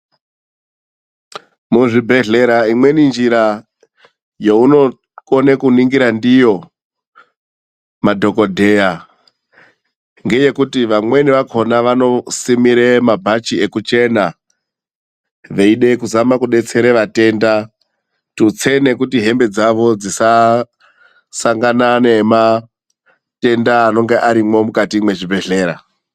Muzvibhedhlera imweni njira younokone kuningira ndiyo madhogodheya ngeyekuti vamweni vakona vanosimire mabhachi ekuchena veyide kuzama kudetsera vatenda. Tutse nokuti hembe dzavo dzisasangana nematenda anonge arimwo mukati mezvibhedhlera.